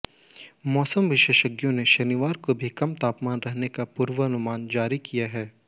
मौसम विशेषज्ञों ने शनिवार को भी कम तापमान रहने का पूर्वानुमान जारी किया है